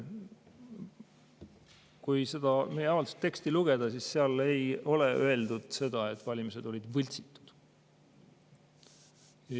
Kui seda meie avalduse teksti lugeda, siis seal ei ole öeldud seda, et valimised olid võltsitud.